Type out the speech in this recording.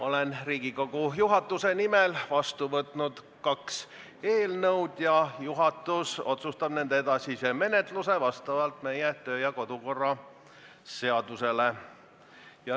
Olen Riigikogu juhatuse nimel vastu võtnud kaks eelnõu ning juhatus otsustab nende edasise menetluse vastavalt meie kodu- ja töökorra seadusele.